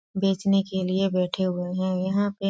बेचने के लिए बैठे हुए हैं यहां पे --